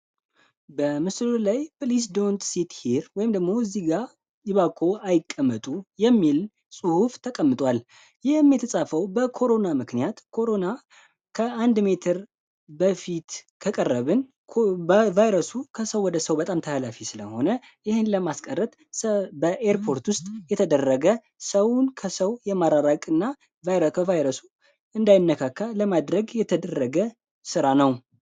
አይቀመጡ የሚል ጽሁፍ ተቀምጠዋል የተጻፈው በኮሮና ምክንያት ኮሮና ከአንድ ሜትር በፊት ከቀረብን ቫይረ በኤርፖርት ውስጥ የተደረገ ሰውን ከሰው የማራራቅና ቫይረሱ እንዳይነካ ለማድረግ የተደረገ ስራ ነው